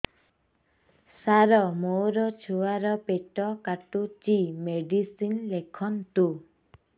ସାର ମୋର ଛୁଆ ର ପେଟ କାଟୁଚି ମେଡିସିନ ଲେଖନ୍ତୁ